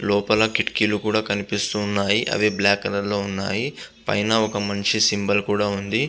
లోపల కిటికీలు కూడా కనిపిస్తుంన్నాయే అవి బ్లాక్ కలర్ లో ఉన్నాయి. పైన ఒక మనిషి సింబల్ కూడా ఉంది.